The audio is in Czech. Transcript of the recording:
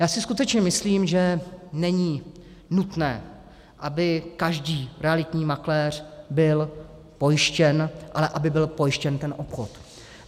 Já si skutečně myslím, že není nutné, aby každý realitní makléř byl pojištěn, ale aby byl pojištěn ten obchod.